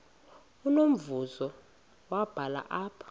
unombuzo wubhale apha